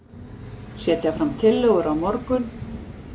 Setja fram tillögur á morgun